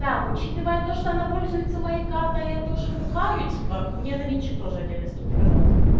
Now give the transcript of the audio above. так учитывая то что она пользуется моей картой я тоже бухаю типа мне на винчик тоже отдельно скиньте пожалуйста